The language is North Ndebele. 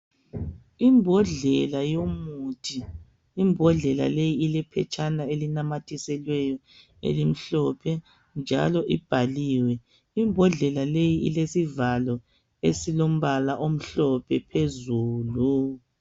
Imbodlela yomuthi, imbodlela leyi ilephetshana elinamathiselweyo elimhlophe njalo ibhaliwe imbodlela leyi ilesivalo esilombala omhlophe phezulu.